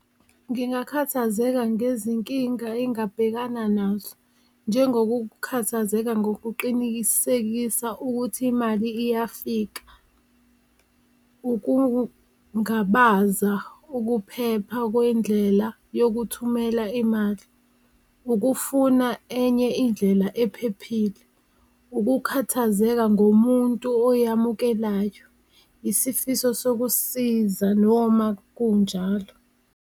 Ngingakhathazeka ngezinkinga engingabhekana nazo. Njengokukhathazeka ngokuqinikisekisa ukuthi imali iyafika. Ukungabaza ukuphepha kwendlela yokuthumela imali. Ukufuna enye indlela ephephile, ukukhathazeka ngomuntu oyamukelayo. Isifiso sokusiza noma kunjalo.